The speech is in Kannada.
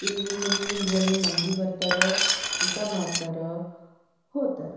ಇಲ್ಲಿ ಫೊಟೊ ಒಳಗ ತೊರಸಿದ್ದ ಒಂದು ಹೊಟೆಲ ಉಡುಪಿ ಉಪಹಾರ.